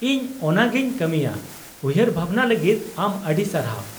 ᱤᱧ ᱚᱱᱟᱜᱮᱧ ᱠᱟᱹᱢᱤᱭᱟ, ᱩᱭᱦᱟᱹᱨ ᱵᱷᱟᱵᱽᱱᱟ ᱞᱟᱹᱜᱤᱫ ᱟᱢ ᱟᱹᱰᱤ ᱥᱟᱨᱦᱟᱣ !